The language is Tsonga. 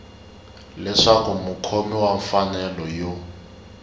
leswaku mukhomi wa mfanelo yo